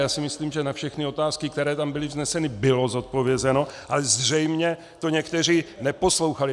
Já si myslím, že na všechny otázky, které tam byly vzneseny, bylo zodpovězeno, ale zřejmě to někteří neposlouchali.